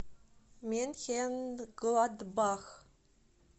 менхенгладбах